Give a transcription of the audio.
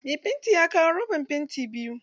Mai fanti ya kawo roban fanti biyu.